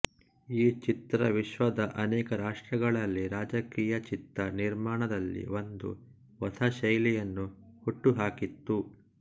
ಈ ಚಿತ್ರ ವಿಶ್ವದ ಅನೇಕ ರಾಷ್ಟ್ರಗಳಲ್ಲಿ ರಾಜಕೀಯ ಚಿತ್ರ ನಿರ್ಮಾಣದಲ್ಲಿ ಒಂದು ಹೊಸ ಶೈಲಿಯನ್ನು ಹುಟ್ಟಿಹಾಕಿತು